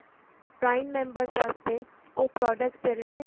prime members ਵਾਸਤੇ ਉਹ products ਜਿਹੜੇ ਨੇ